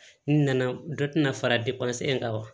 N nana dɔ tɛna fara kan wa